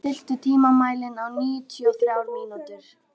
Hálfdán, stilltu tímamælinn á níutíu og þrjár mínútur.